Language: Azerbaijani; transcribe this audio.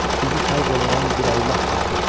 Sizi xəlq eləyən bir Allah vardır.